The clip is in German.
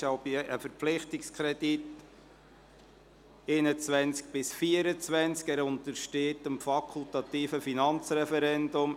Es handelt sich um einen Verpflichtungskredit von 2021– 2024, der dem fakultativen Finanzreferendum untersteht.